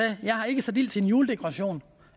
jeg har ikke sat ild til en juledekoration